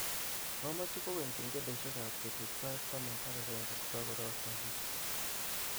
Mamache kogeny kengeleshekab betutsait taman ak agenge kogarorokto asista